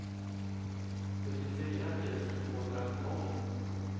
sjuttiofyra tusen tvåhundratolv